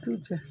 Du cɛ